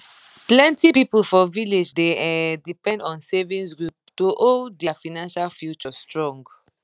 plenty people for village dey um depend on savings group to hold their financial future strong